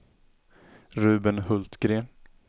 Ruben Hultgren